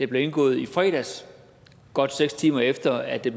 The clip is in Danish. blev indgået i fredags godt seks timer efter at det